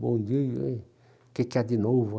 Bom dia aí, o que que há de novo aí?